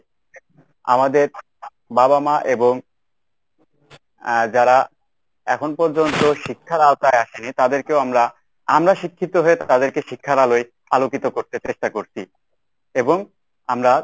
আমাদের বাবা মা এবং এর যারা এখন পর্যন্ত শিক্ষার আওতায় আসেনি তাদেরকেও আমরা আমরা শিক্ষিত হয়ে তাদেরকে শিক্ষার আলোয় আলোকিত করতে চেষ্টা করছি। এবং আমরা